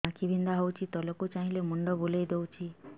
ଆଖି ବିନ୍ଧା ହଉଚି ତଳକୁ ଚାହିଁଲେ ମୁଣ୍ଡ ବୁଲେଇ ଦଉଛି